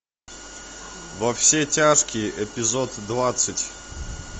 во все тяжкие эпизод двадцать